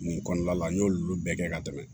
Nin kɔnɔna la n y'olu bɛɛ kɛ ka tɛmɛ